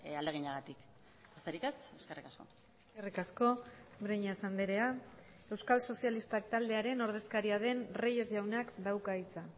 ahaleginagatik besterik ez eskerrik asko eskerrik asko breñas andrea euskal sozialistak taldearen ordezkaria den reyes jaunak dauka hitza